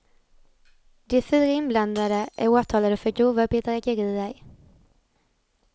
De fyra inblandade är åtalade för grova bedrägerier.